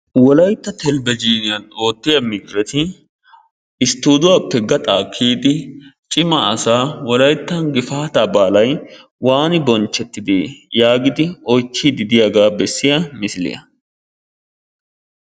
Wolayitta talbejiiniyan oottiya miideti sttuuduwappe gaxaa kiyidi cima asaa "wolayittan gifaataa baalay waani bonchchettidee?" Yaagidi oychchiiddi diyagaa bessiya misiliya.